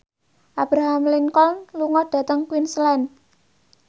Abraham Lincoln lunga dhateng Queensland